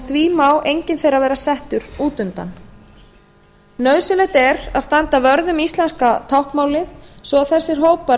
því má enginn þeirra vera settur út undan nauðsynlegt er að standa vörð um íslenska táknmálið svo að þessir hópar